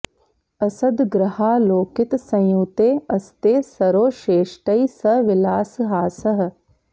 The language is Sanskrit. असद् ग्रहालोकित संयुते अस्ते सरोषेष्टैः स विलास हासः